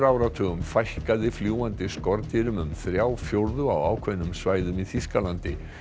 áratugum fækkaði fljúgandi skordýrum um þrjá fjórðu á ákveðnum svæðum í Þýskalandi